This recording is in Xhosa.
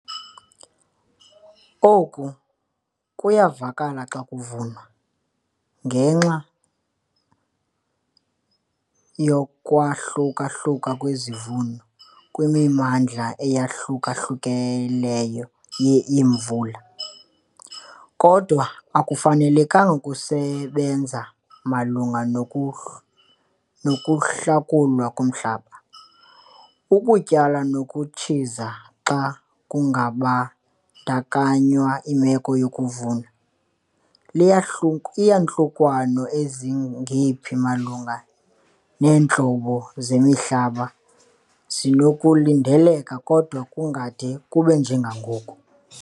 Oku kuyavakala xa kuvunwa, ngenxa yokwahluka-hluka kwezivuno kwimimandla eyahluka-hlukileyo ye-imvula, kodwa akufanelanga kusebenza malunga nokuhla nokuhlakulwa komhlaba, ukutyala nokutshiza xa kungabandakanywa imeko yokuvuna. liyahluka Iiyantlukwano ezingephi malunga neentlobo zemihlaba zinokulindeleka kodwa kungade kube njengendlela yangoku.